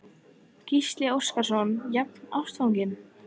Gísli Óskarsson: Jafnástfanginn?